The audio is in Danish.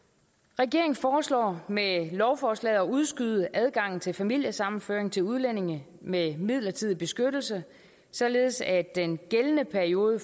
regeringen foreslår med lovforslaget at udskyde adgangen til familiesammenføring til udlændinge med midlertidig beskyttelse således at den gældende periode